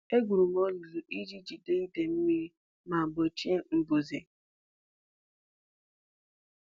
Egwuru m olulu iji jide idei mmiri ma gbochie mbuze.